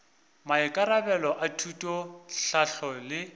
maikarabelo a thuto tlhahlo le